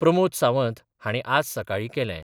प्रमोद सावंत हांणी आज सकाळीं केलें.